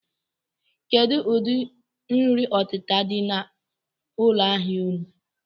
Kedụ ụdị nri ọtịta dị n'ụlọ ahịa unu?